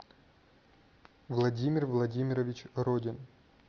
владимир владимирович родин